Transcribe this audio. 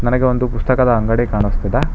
ನನಗೆ ಒಂದು ಪುಸ್ತಕದ ಅಂಗಡಿ ಕಾಣಸ್ತ್ತಿದೆ.